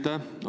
Aitäh!